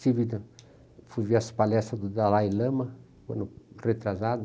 Fui ver as palestras do Dalai Lama, ano retrasado.